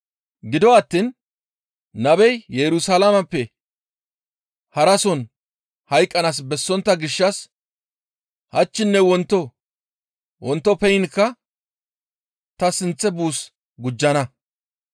Gido attiin nabey Yerusalaameppe harason hayqqanaas bessontta gishshas hachchinne wonto wontoppeynka ta sinththe buus gujjana.